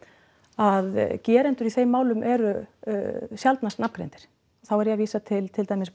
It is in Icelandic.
að gerendur í þeim málum eru sjaldnast nafngreindir þá er ég að vísa til til dæmis